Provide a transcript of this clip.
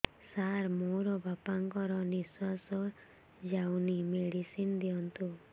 ସାର ମୋର ବାପା ଙ୍କର ନିଃଶ୍ବାସ ଯାଉନି ମେଡିସିନ ଦିଅନ୍ତୁ